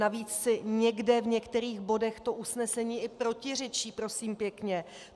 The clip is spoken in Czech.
Navíc si někde v některých bodech to usnesení i protiřečí, prosím pěkně.